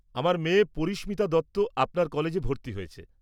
আমার মেয়ে পরিস্মিতা দত্ত আপনার কলেজে ভর্তি হয়েছে।